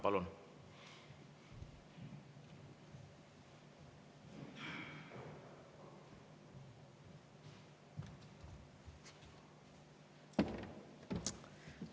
Palun!